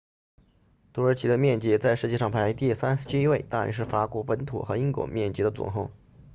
土耳其的面积在世界上排第37位大约是法国本土和英国面积的总和